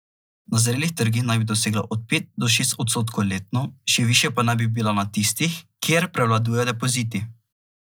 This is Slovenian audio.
Na zrelih trgih naj bi dosegla od pet do šest odstotkov letno, še višja pa naj bi bila na tistih, kjer prevladujejo depoziti.